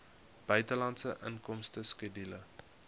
buitelandse inkomste skedule